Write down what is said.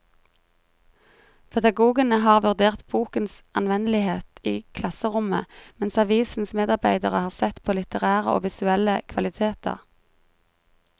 Pedagogene har vurdert bokens anvendelighet i klasserommet, mens avisens medarbeidere har sett på litterære og visuelle kvaliteter.